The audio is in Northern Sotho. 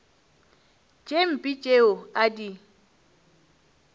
tše mpe tšeo a di